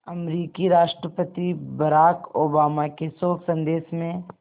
अमरीकी राष्ट्रपति Barack Obama के शोक संदेश में